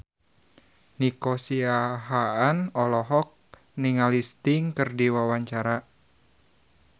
Nico Siahaan olohok ningali Sting keur diwawancara